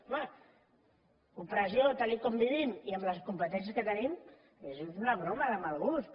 home opressió tal com vivim i amb les competències que tenim és una broma de mal gust